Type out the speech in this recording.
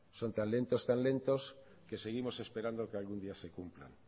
son tan lentos tan lentos que seguimos esperando que algún día se cumplan